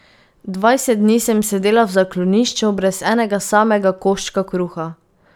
Dvajset dni sem sedela v zaklonišču, brez enega samega koščka kruha.